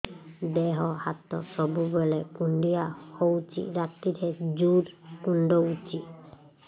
ଦେହ ହାତ ସବୁବେଳେ କୁଣ୍ଡିଆ ହଉଚି ରାତିରେ ଜୁର୍ କୁଣ୍ଡଉଚି